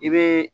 I bɛ